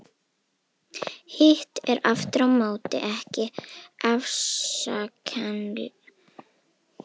Hitt er aftur á móti ekki afsakanlegt að láta undirbúning dragast ótakmarkað.